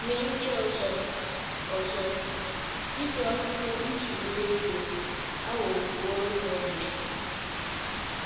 Nye ndị ọzọ, ọzọ, ịgụ akwụkwọ iji nwee ego aghọworo ha ọnyà.